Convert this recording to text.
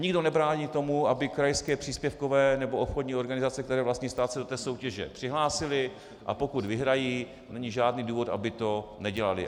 Nikdo nebrání tomu, aby krajské příspěvkové nebo obchodní organizace, které vlastní stát, se do té soutěže přihlásily, a pokud vyhrají, není žádný důvod, aby to nedělaly.